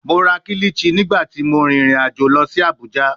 Mo ra kilichi nigbati mo rin irin ajo lọ si Abuja